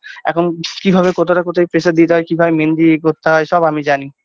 এখন কিভাবে কতটা কোথায় pressure দিতে হয় কীভাবে মেহেন্দি ইয়ে করতে হয় সব আমি জানি।